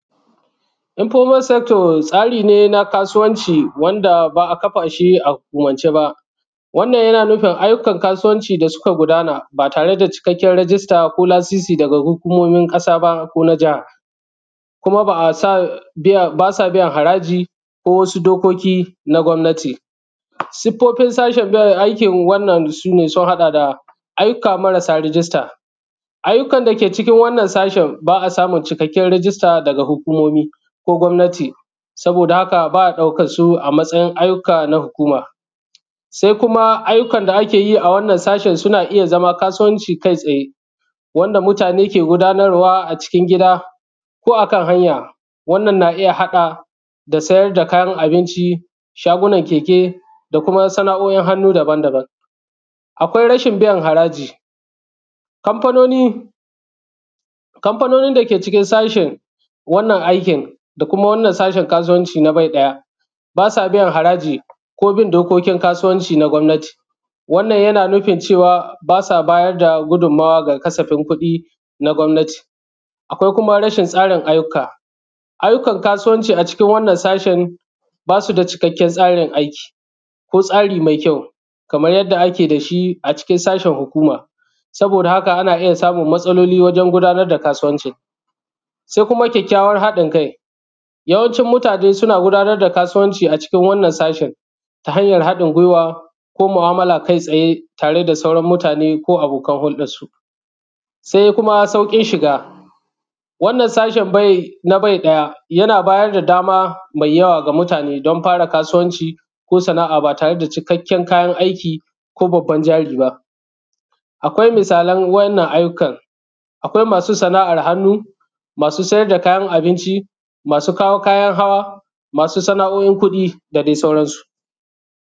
informart sector tsari ne na kasuwanci wanda ba a kafa shi a hukumance ba wannan yana nufin ayyukan kasuwanci da suka gudana ba tare da cikakken rijista ba ko lasisi daga hukumomin ƙasa ba ko na jaha kuma ba sa biyan haraji ko wasu dokoki na gwamnati siffofin sashen aikin wannan sun haɗa aiyyuka marasa rijista ayyuka da ke cikin wannan sashen ba a samun cikakken rijista daga hukumomi ko gwamnati saboda haka ba a ɗaukan su a matsayin ayyuka na hukuma sai kuma ayyukan da ake yi a wannan sashen suna iya zama kasuwanci kai tsaye wanda mutane ke gudanarwa a cikin gida ko a kan hanya wannan na iya haɗa da sayar da kayan abinci shagunan keke da kuma sana’o’in hannu daban daban akwai rashin biyan haraji kamfanonin da ke cikin sashin wannan aikin da kuma wannan sashin na kasuwancin na bai ɗaya ba sa biyan haraji ko bin dokokin kasuwanci na gwamnati wannan yana nufin cewa ba sa bayar da gudunmuwa ga kasafi na gwannati akwai kuma rashin tsarin ayyuka ayyukan kasuwanci a cikin wannan sashin ba su da cikakken tsarin aiki ko tsari mai kyau kaman yadda ake da shi a cikin sashin hukuma saboda haka ana iya samun matsaloli wajen gudanar da kasuwanci sai kuma kyakykyawan haɗin kai yawancin mutane suna gudanar da kasuwanci a cikin wannan sashin ta hanyar haɗin guiwa ko mu'amala kai tsaye tare da sauran mutane ko abokan hulɗan su sai kuma sauƙin shiga wannan sashin na bai ɗaya yana bayar da dama mai yawa ga mutane don fara kasuwanci ko sana'a ba tare da cikakken kayan aiki ko babbar jari ba akwai misalan wannan ayyukan akwai masu sana'ar hannu masu saida kayan abinci masu kawo kayan hawa masu sana’o’in kuɗi da dai sauransu